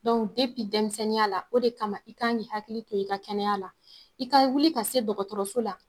dɛmisɛnninya la o de kama i kan k'i hakili to i ka kɛnɛya la, i ka wuli ka se dɔgɔtɔrɔso la